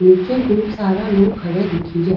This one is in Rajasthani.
निचे खूब सारा लोग खड्या दिखे रा।